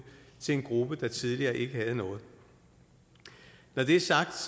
til en gruppe der tidligere ikke havde noget når det er sagt